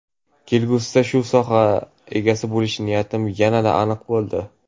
Kelgusida shu soha egasi bo‘lish niyatim yanada aniq bo‘ldi.